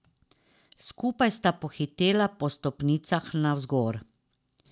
Skupaj sta pohitela po stopnicah navzgor.